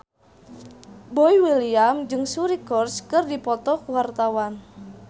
Boy William jeung Suri Cruise keur dipoto ku wartawan